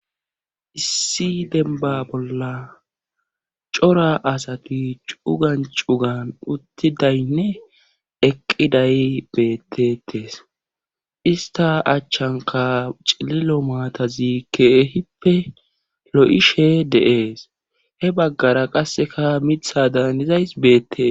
Issi denba bolla cora asati cugan cugan uttidaynne eqqiday beettetes ista achchanka cililo maatazi keehippe lo'ishshe de'ees he baggara qasseka miiththadahanizays beettees